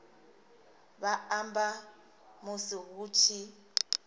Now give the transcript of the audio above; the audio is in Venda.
vha amba musi hu tshi